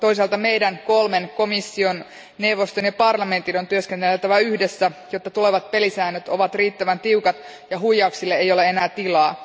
Toisaalta meidän kolmen komission, neuvoston ja parlamentin on työskenneltävä yhdessä, jotta tulevat pelisäännöt ovat riittävän tiukat ja huijauksille ei ole enää tilaa.